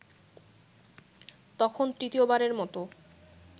তখন তৃতীয়বারের মতো